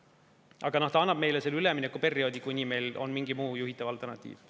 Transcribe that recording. Aga ta annab meile selle üleminekuperioodi, kuni meil on mingi muu juhitav alternatiiv.